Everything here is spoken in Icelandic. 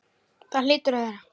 Það hlýtur að vera.